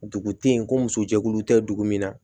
Dugu te yen ko muso jɛkulu tɛ dugu min na